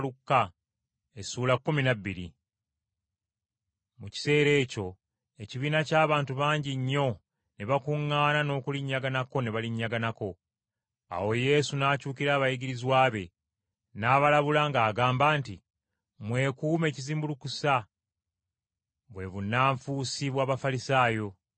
Mu kiseera ekyo ekibiina ky’abantu bangi nnyo, ne bakuŋŋaana n’okulinnyaganako ne balinnyaganako. Awo Yesu n’akyukira abayigirizwa be, n’abalabula ng’agamba nti, “Mwekuume ekizimbulukusa bwe bannanfuusi bw’Abafalisaayo.